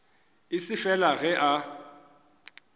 e se fela ge a